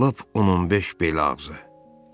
Lap on-15 bel ağzı.